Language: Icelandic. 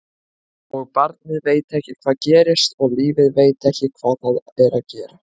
Og barnið veit ekki hvað gerist og lífið veit ekki hvað það er að gera.